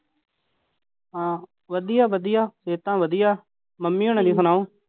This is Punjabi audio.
ਹਾਂ ਵਧੀਆ ਵਧੀਆ, ਸਿਹਤਾਂ ਵਧੀਆ, ਮੰਮੀ ਹੋਣਾਂ ਦੀ ਸੁਣਾਓ।